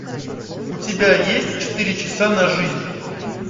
у тебя есть четыре часа на жизнь